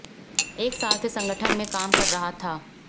एक साल से संगठन में काम कर रहा था